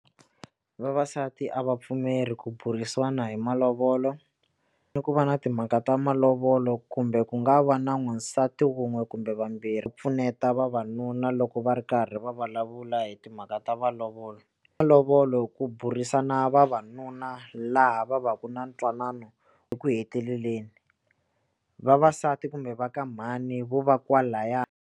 Vavasati a va pfumeli ku burisiwa na hi malovolo ni ku va na timhaka ta malovolo kumbe ku nga va na n'wansati wun'we kumbe vambirhi pfuneta vavanuna loko va ri karhi va va vulavula hi timhaka ta malovolo malovolo ku burisana vavanuna laha va va ku na ntwanano eku heteleleni vavasati kumbe va ka mhani vo va kwalahaya.